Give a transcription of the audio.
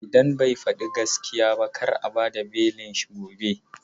Idan bai faɗi gaskiya ba kar a bad a belin shi gobe.